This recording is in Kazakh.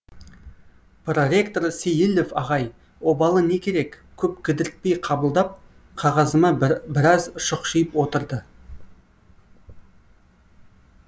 проректор сейілов ағай обалы не керек көп кідіртпей қабылдап қағазыма біраз шұқшиып отырды